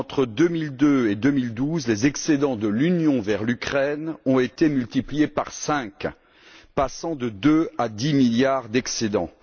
Entre 2002 et 2012, les excédents de l'Union vers l'Ukraine ont été multipliés par cinq, passant de deux à dix milliards d'excédents.